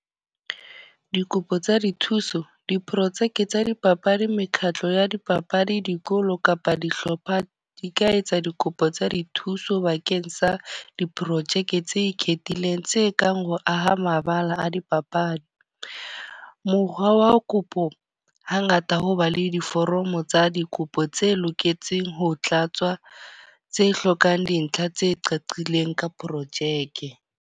Dikopo tsa dithuso, diprojeke tsa dipapadi, mekgatlo ya dipapadi, dikolo kapa dihlopha di ka etsa dikopo tsa dithuso bakeng sa diprojeke tse ikgethileng. Tse kang ho aha mabala a dipapadi. Mokgwa wa kopo ha ngata ho ba le diforomo tsa dikopo tse loketseng ho tlatswa, tse hlokang dintlha tse qaqileng ka projeke.